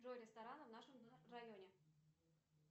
джой рестораны в нашем районе